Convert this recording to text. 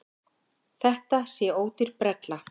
Þetta sé ódýr brella.